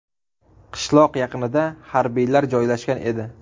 Qishloq yaqinida harbiylar joylashgan edi.